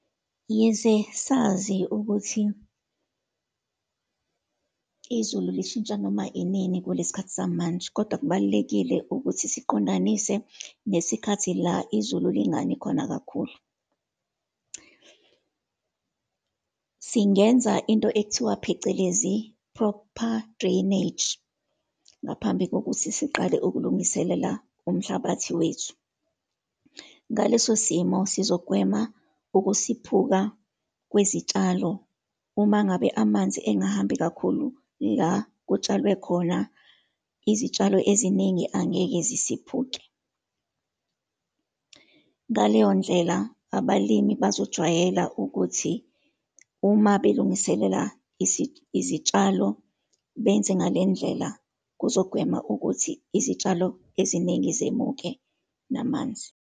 Yize sazi ukuthi izulu lishintsha noma inini kulesi khathi samanje, kodwa kubalulekile ukuthi siqondanise nesikhathi la izulu lingani khona kakhulu. Singenza into ekuthiwa phecelezi, proper drainage, ngaphambi kokuthi siqale ukulungiselela umhlabathi wethu. Ngaleso simo sizogwema ukusiphuka kwezitshalo, uma ngabe amanzi engahambi kakhulu la kutshalwe khona, izitshalo eziningi angeke zisiphuke. Ngaleyo ndlela, abalimi bazojwayela ukuthi uma belungiselela izitshalo benze ngale ndlela, kuzogwema ukuthi izitshalo eziningi zemuka namanzi.